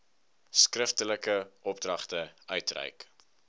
skriftelike opdragte uitreik